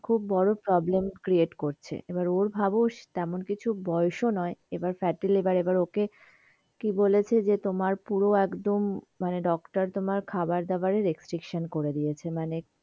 খুব বড়ো problem create করছে, এবার ওর ভাবো তেমন কিছু বয়স ও নই, এবার fatty- liver ওকে কি বলেছে যে তোমার পুরো একদম, মনে doctor তোমার খাবার দাবার এর restriction করে দিয়েছে মানে,